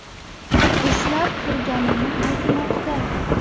ushlab turganini aytmoqda.